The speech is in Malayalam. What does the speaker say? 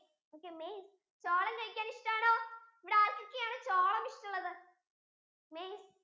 okay maize ചോളം കഴിക്കാൻ ഇഷ്ടം ആണോ ഇവിടെ ആർക്കൊക്കെ ആണ് ചോളം ഇഷ്ടമുള്ളത് maize